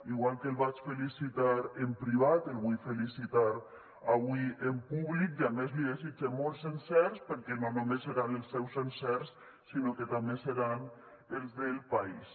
igual que el vaig felicitar en privat el vull felicitar avui en públic i a més li desitge molts encerts perquè no només seran els seus encerts sinó que també seran els del país